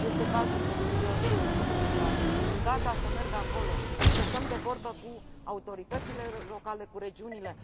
Este cazul, de pildă, al sudului Italiei și sunt gata să merg acolo, să stăm de vorbă cu autoritățile locale, cu regiunile.